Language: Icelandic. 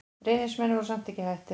Reynismenn voru samt ekki hættir.